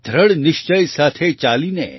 દ્રઢ નિશ્ચય સાથે ચાલીને